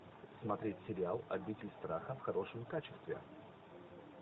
смотреть сериал обитель страха в хорошем качестве